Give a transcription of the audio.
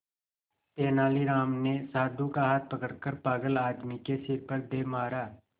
तेनालीराम ने साधु का हाथ पकड़कर पागल आदमी के सिर पर दे मारा